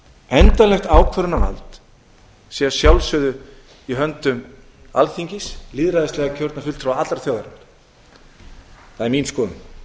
endanlegt ákvörðunarvald sé að sjálfsögðu í höndum alþingis lýðræðislega kjörinna fulltrúa allrar þjóðarinnar það er mín skoðun